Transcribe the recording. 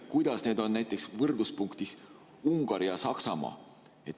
Kuidas need on võrdluses näiteks Ungari ja Saksamaaga?